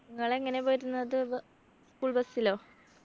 നിങ്ങള് എങ്ങനെയാ പോയിരുന്നത് വ school bus ലോ